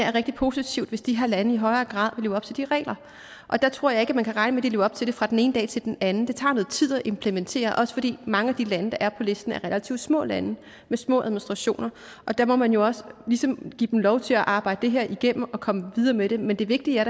er rigtig positivt hvis de her lande i højere grad vil leve op til de regler og der tror jeg ikke man kan regne med at de lever op til det fra den ene dag til den anden det tager noget tid at implementere også fordi mange af de lande der er på listen er relativt små lande med små administrationer og der må man jo også ligesom give dem lov til at arbejde det her igennem og komme videre med det men det vigtige er